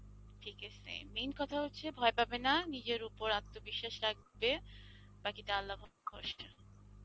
ঠিক আসে main কথা হস্সে ভি পাবে না, নিজের উপর আন্ত বিশ্বাস রাখবে বাকিটা আল্লাহ